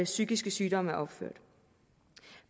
psykiske sygdomme er opført